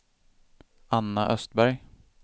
Anna Östberg